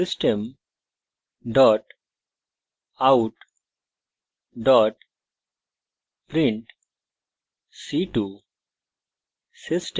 system out print c2;